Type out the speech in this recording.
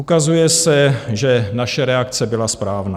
Ukazuje se, že naše reakce byla správná.